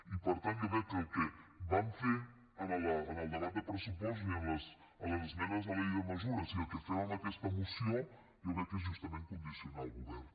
i per tant jo crec que el que vam fer en el debat de pressupostos i en les esmenes a la llei de mesures i el que fem en aquesta moció és justament condicionar el govern